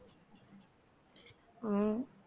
ஹம்